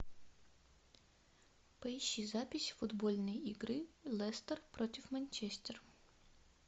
поищи запись футбольной игры лестер против манчестер